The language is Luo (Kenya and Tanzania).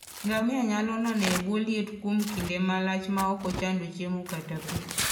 Ngamia nyalo nano e bwo liet kuom kinde malach maok ochando chiemo kata pi.